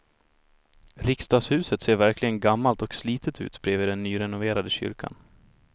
Riksdagshuset ser verkligen gammalt och slitet ut bredvid den nyrenoverade kyrkan.